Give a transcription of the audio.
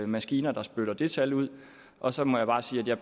maskiner der spytter det tal ud og så må jeg bare sige at jeg